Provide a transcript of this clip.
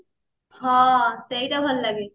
ହଁ ସେଇଟା ଭଲ ଲାଗେ